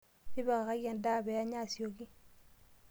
Tipikaki endaa pee enya asioki,